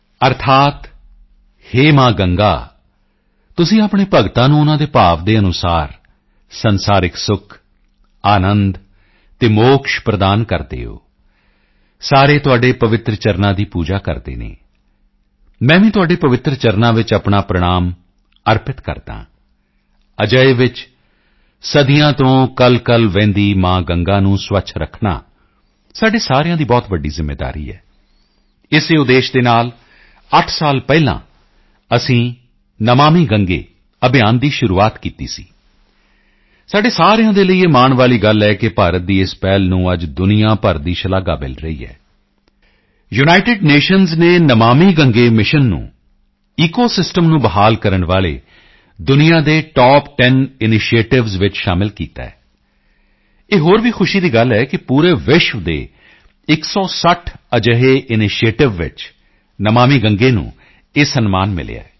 ਅਰਥਾਤ ਹੇ ਮਾਂ ਗੰਗਾ ਤੁਸੀਂ ਆਪਣੇ ਭਗਤਾਂ ਨੂੰ ਉਨ੍ਹਾਂ ਦੇ ਭਾਵ ਦੇ ਅਨੁਸਾਰ ਸੰਸਾਰਿਕ ਸੁੱਖ ਅਨੰਦ ਅਤੇ ਮੋਕਸ਼ ਪ੍ਰਦਾਨ ਕਰਦੇ ਹੋ ਸਾਰੇ ਤੁਹਾਡੇ ਪਵਿੱਤਰ ਚਰਨਾਂ ਦੀ ਪੂਜਾ ਕਰਦੇ ਹਨ ਮੈਂ ਵੀ ਤੁਹਾਡੇ ਪਵਿੱਤਰ ਚਰਨਾਂ ਵਿੱਚ ਆਪਣਾ ਪ੍ਰਣਾਮ ਅਰਪਿਤ ਕਰਦਾ ਹਾਂ ਅਜਿਹੇ ਵਿੱਚ ਸਦੀਆਂ ਤੋਂ ਕਲਕਲ ਵਹਿੰਦੀ ਮਾਂ ਗੰਗਾ ਨੂੰ ਸਵੱਛ ਰੱਖਣਾ ਸਾਡੇ ਸਾਰਿਆਂ ਦੀ ਬਹੁਤ ਵੱਡੀ ਜ਼ਿੰਮੇਵਾਰੀ ਹੈ ਇਸੇ ਉਦੇਸ਼ ਦੇ ਨਾਲ 8 ਸਾਲ ਪਹਿਲਾਂ ਅਸੀਂ ਨਮਾਮਿ ਗੰਗੇ ਅਭਿਯਾਨ ਦੀ ਸ਼ੁਰੂਆਤ ਕੀਤੀ ਸੀ ਸਾਡੇ ਸਾਰਿਆਂ ਦੇ ਲਈ ਇਹ ਮਾਣ ਵਾਲੀ ਗੱਲ ਹੈ ਕਿ ਭਾਰਤ ਦੀ ਇਸ ਪਹਿਲ ਨੂੰ ਅੱਜ ਦੁਨੀਆ ਭਰ ਦੀ ਸ਼ਲਾਘਾ ਮਿਲ ਰਹੀ ਹੈ ਯੂਨਾਈਟਿਡ ਨੇਸ਼ਨਸ ਨੇ ਨਮਾਮਿ ਗੰਗੇ ਮਿਸ਼ਨ ਨੂੰ ਈਕੋਸਿਸਟਮ ਨੂੰ ਬਹਾਲ ਕਰਨ ਵਾਲੇ ਦੁਨੀਆ ਦੇ ਟੌਪ10 ਇਨਸ਼ੀਏਟਿਵਸ ਵਿੱਚ ਸ਼ਾਮਲ ਕੀਤਾ ਹੈ ਇਹ ਹੋਰ ਵੀ ਖੁਸ਼ੀ ਦੀ ਗੱਲ ਹੈ ਕਿ ਪੂਰੇ ਵਿਸ਼ਵ ਦੇ 160 ਅਜਿਹੇ ਇਨਸ਼ੀਏਟਿਵ ਵਿੱਚ ਨਮਾਮਿ ਗੰਗੇ ਨੂੰ ਇਹ ਸਨਮਾਨ ਮਿਲਿਆ ਹੈ